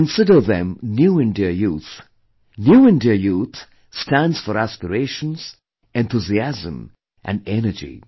I consider them 'New India Youth', 'New India Youth' stands for aspirations, enthusiasm & energy